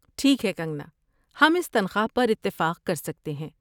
ٹھیک ہے، کنگنا، ہم اس تنخواہ پر اتفاق کر سکتے ہیں۔